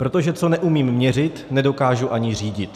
Protože co neumím měřit, nedokážu ani řídit.